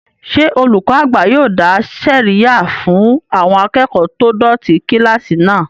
Ṣé olùkọ́ àgbà yóò dá sẹ̀ríyà fún àwọn akẹ́kọ̀ọ́ tó dọ̀tí kílásì náà?